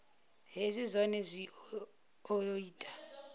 hezwi zwohe zwi o ita